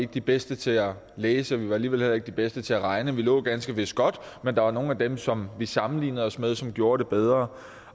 de bedste til at læse og vi var alligevel heller ikke de bedste til at regne vi lå ganske vist godt men der var nogle af dem som vi sammenlignede os med som gjorde det bedre